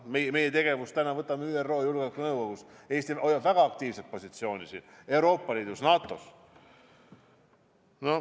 Meie tegevus ÜRO Julgeolekunõukogus, Eesti hoiab väga aktiivset positsiooni Euroopa Liidus, NATO-s.